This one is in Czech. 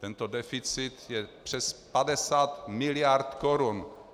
Tento deficit je přes 50 miliard korun.